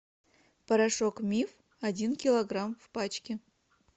порошок миф один килограмм в пачке